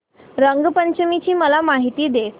रंग पंचमी ची मला माहिती दे